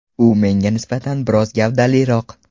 U menga nisbatan biroz gavdaliroq.